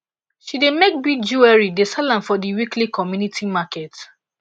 she dey make bead jewelry dey sell am for di weekly community market